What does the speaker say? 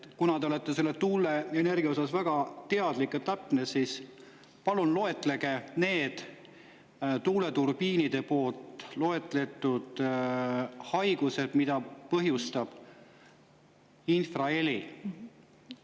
Kuna te olete tuuleenergiast väga teadlik ja selles täpne, siis palun loetlege need tuuleturbiinide haigused, mida põhjustab infraheli.